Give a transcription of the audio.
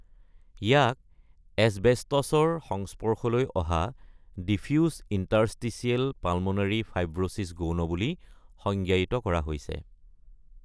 ইয়াক এচবেষ্টছৰ সংস্পৰ্শলৈ অহা ডিফিউজ ইণ্টাৰষ্টিচিয়েল পালমোনাৰী ফাইব্ৰোচিছ গৌণ বুলি সংজ্ঞায়িত কৰা হৈছে।